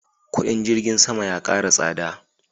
kudin jirgin sama ya kara tsada